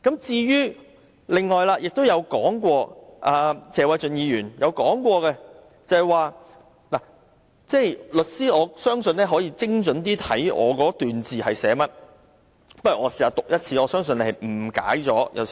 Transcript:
關於謝偉俊議員提出的論點，我相信律師可以精準理解我的文字，讓我把它讀出來，我相信他可能誤解了我的意思。